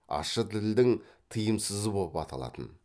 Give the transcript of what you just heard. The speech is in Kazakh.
ащы тілдің тыйымсызы боп аталатын